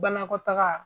Banakɔtaga